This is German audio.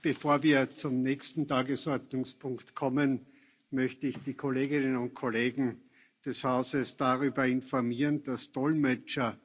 Bevor wir zum nächsten Tagesordnungspunkt kommen, möchte ich die Kolleginnen und Kollegen des Hauses darüber informieren, dass Dolmetscher